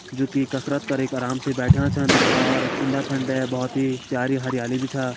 जो की कसरत करीक आराम से बैठ्यां छन और उंडे-फंडे बहौत ही प्यारी हरयाली भी छा।